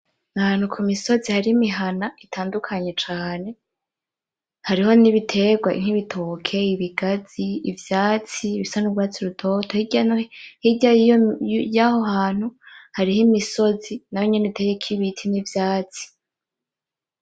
Ni ahantu ku misozi hari imihana itandukanye cane. Hariho n'ibiterwa, nk'ibitoke, ibigazi, ivyatsi bisa n'urwatsi rutoto. Hirya y'aho hantu hariho imisozi nayo nyene iteyeko ibiti n'ivyatsi.